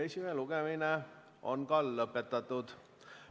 Esimene lugemine on lõpetatud.